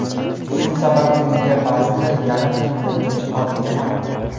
Shu sababli uyga ba’zida yarim tunda, kech qolib kelardi.